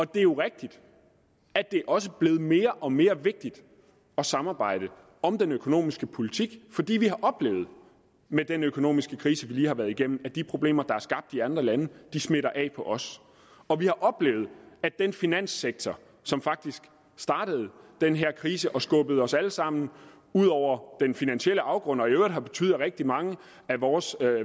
det er jo rigtigt at det også er blevet mere og mere vigtigt at samarbejde om den økonomiske politik fordi vi har oplevet med den økonomiske krise vi lige har været igennem at de problemer der er skabt i andre lande smitter af på os og vi har oplevet at den finanssektor som faktisk startede den her krise og skubbede os alle sammen ud over den finansielle afgrund og i øvrigt har betydet at rigtig mange af vores